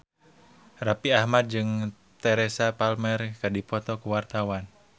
Raffi Ahmad jeung Teresa Palmer keur dipoto ku wartawan